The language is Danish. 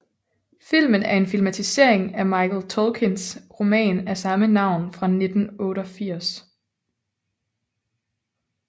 Filmen er en filmatisering af Michael Tolkins roman af samme navn fra 1988